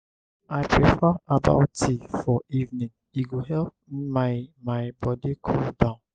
i prefer herbal tea for evening e go help my my body cool down.